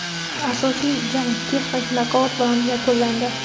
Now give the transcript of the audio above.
Asosiy jang texnik nokaut bilan yakunlandi.